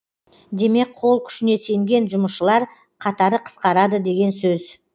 демек қол күшіне сенген жұмысшылар қатары қысқарады деген сөз